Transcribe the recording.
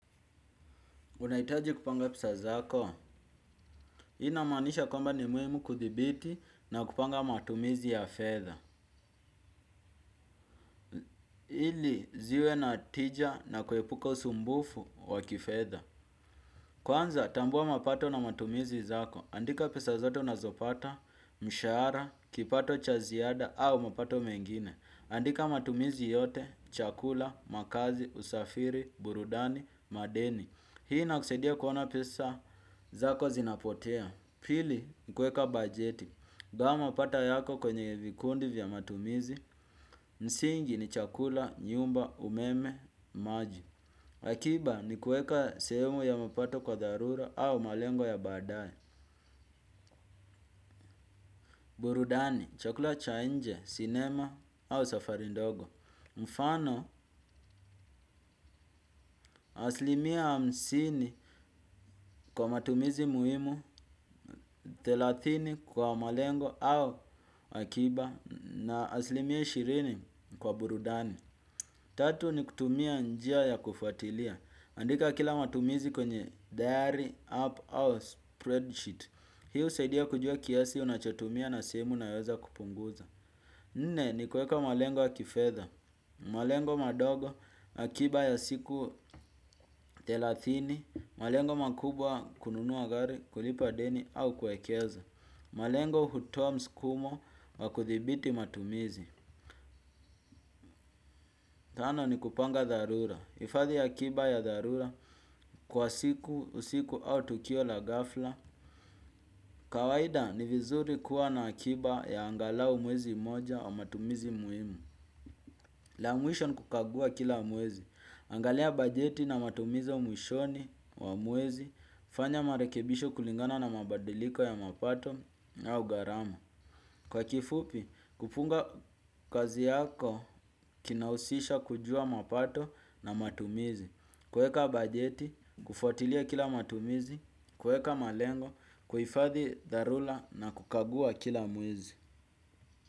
Unahitaji kupanga pesa zako, inamanisha kwamba ni muimu kuthibiti na kupanga matumizi ya fedha. Ili ziwe na tija na kuhepuka usumbufu wa kifedha. Kwanza, tambua mapato na matumizi zako, andika pesa zote unazopata, mshara, kipato chaziada, au mapato mengine. Andika matumizi yote, chakula, makazi, usafiri, burudani, madeni. Hii inakuseidia kuona pesa zako zinapotea. Pili ni kueka bajeti. Gawa mapato yako kwenye vikundi vya matumizi. Msingi ni chakula, nyumba, umeme, maji. Akiba ni kueka seumu ya mapato kwa darura au malengo ya badaye. Burudani, chakula cha nje, cinema au safari ndogo. Mfano, aslimia hamsini kwa matumizi muhimu, telathini kwa malengo au akiba na aslimia shirini kwa burudani. Tatu ni kutumia njia ya kufuatilia. Andika kila matumizi kwenye diary, app au spreadsheet. Hi usaidia kujua kiasi unachotumia na simu nayoeza kupunguza. Nine ni kueka malengo ya kifedha. Malengo madogo akiba ya siku telathini. Malengo makubwa kununuwa gari kulipa deni au kuekeza. Malengo hutowa mskumo wa kuthibiti matumizi. Tano ni kupanga dharura. Ifadhi yakiba ya dharura kwa siku, usiku au tukio la gafla. Kawahida ni vizuri kuwa na kiba ya angalau mwezi moja wa matumizi muhimu. La mwisho n kukagua kila mwezi. Angalia bajeti na matumizo mwishoni wa mwezi. Fanya marekebisho kulingana na mabadiliko ya mapato na au garama. Kwa kifupi, kufunga kazi yako kinausisha kujua mapato na matumizi. Kueka bajeti, kufuatilia kila matumizi. Kueka malengo, kuifathi darula na kukagua kila mwezi.